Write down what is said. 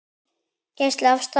Geysi af stað.